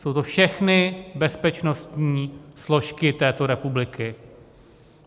Jsou to všechny bezpečnostní složky této republiky.